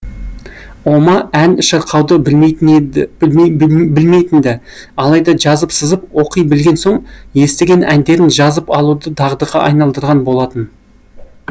ома ән шырқауды білмейтін ді алайда жазып сызып оқи білген соң естіген әндерін жазып алуды дағдыға айналдырған болатын